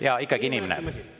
Jaa, ikkagi inimene.